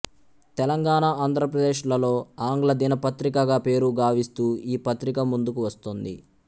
తెలంగాణ ఆంధ్రప్రదేశ్ లలో ఆంగ్ల దినపత్రికగా పేరు గావిస్తూ ఈ పత్రిక ముందుకు వస్తోంది